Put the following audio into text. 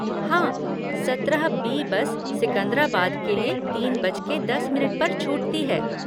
हाँ, सत्रह B bus Secunderabad के लिए तीन बजके दस मिनट पर छूटती है।